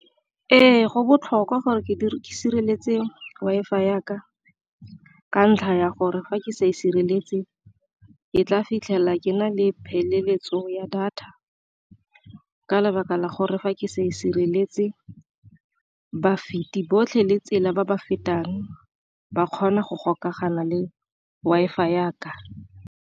Ee, go botlhokwa gore ke sireletse Wi-Fi ya ka ka ntlha ya gore fa ke sa e sireletse ke tla fitlhela ke na le pheleletso ya data, ka lebaka la gore fa ke sa e sireletse ba feti botlhe le tsela ba ba fetang ba kgona go gokagana le Wi-Fi ya ka.